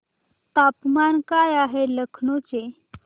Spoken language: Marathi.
तापमान काय आहे लखनौ चे